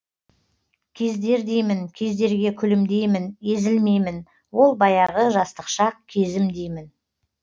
кездер деймін кездерге күлімдеймін езілмеймін ол баяғы жастық шақ кезім деймін